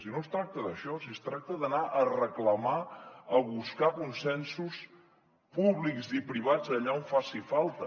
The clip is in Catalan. si no es tracta d’això si es tracta d’anar a reclamar a buscar consensos públics i privats allà on faci falta